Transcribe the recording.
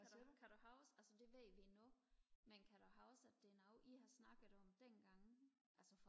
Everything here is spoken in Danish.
kan du huske altså det ved vi nu men kan du huske at det er noget i har snakket om dengang altså